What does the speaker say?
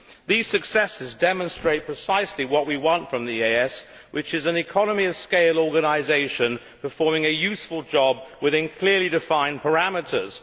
These successes demonstrate precisely what we want from the EEAS, which is an economy of scale organisation performing a useful job within clearly defined parameters.